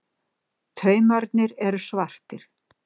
Taumarnir eru svartir.